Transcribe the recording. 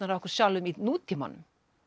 af okkur sjálfum í nútímanum